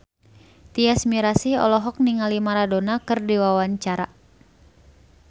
Tyas Mirasih olohok ningali Maradona keur diwawancara